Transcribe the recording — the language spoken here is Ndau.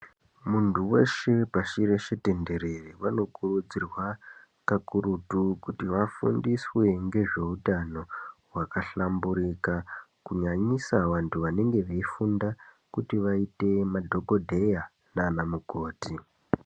Muntu weshe pashi reshe tenderere, vanokurudzirwa kakurutu kuti vafundiswe ngezveutano hwakahlamburika ,kunyanyisa vantu vanenge veifunda, kuti vaite madhokodheya naanamukoti.